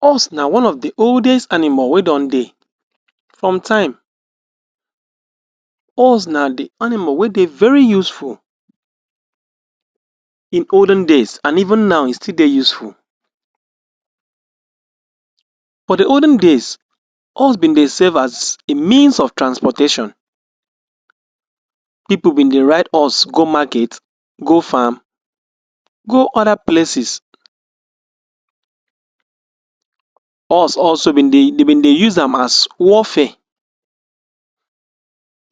Horse na one of the oldest animal wey don dey. From time, horse na the animal wey dey very useful in olden days, an even now, e dey very useful. For the olden days horse bin dey serve as a means of transportation. Pipu bin dey ride horse go market, go farm, go other places. Horse de bin dey use am as warfare.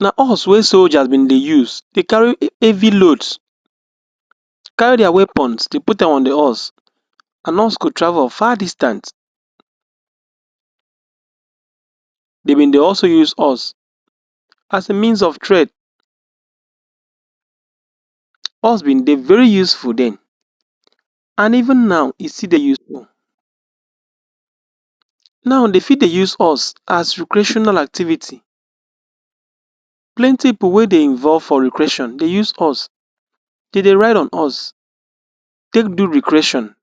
Na horse wey soldiers bin dey use dey carry heavy loads. Carry dia weapons, de put am on the horse, an horse go travel far distance. De bin dey also use horse as a means of trade. Horse bin dey very useful then, an even now, e still dey useful. Now, de fit dey use horse as recreational activity. Plenty pipu wey dey involve for recreation dey use horse. De dey ride on horse take do recreation.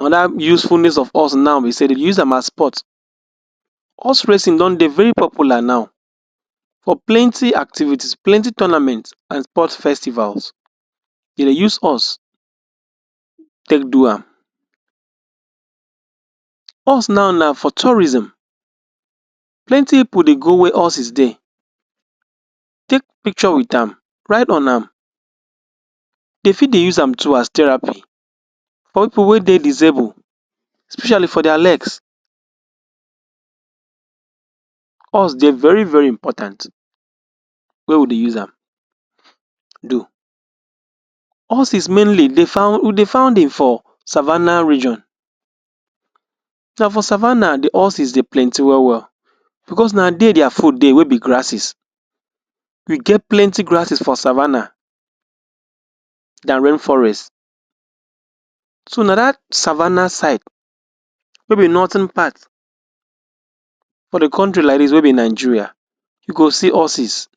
Another usefulness of horse now be sey de dey use am as sport. Horse racing don dey very popular now for plenty activities, plenty tournaments an sport festivals. De dey use horse take do am. Horse now na for tourism. Plenty pipu dey go where horses dey, take picture with am, ride on am. De fit dey use am do as therapy for pipu wey dey disable, especially for dia legs. Horse dey very very important. Where we dey use am? Horses mainly dey you dey found im for savannah region. Na for savannah the horses dey plenty well-well becos na there dia food dey wey be grasses. We get plenty grasses for savannah than rain forest. So, na dat savannah side wey be northern part for the country like dis wey be Nigeria you go see horses.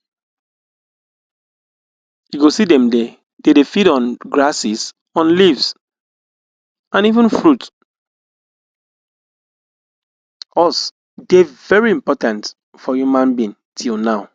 You go see dem de feed on grasses or leaves an even fruit. Horse dey very important for human being till now.